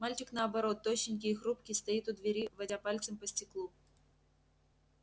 мальчик наоборот тощенький и хрупкий стоит у двери водя пальцем по стеклу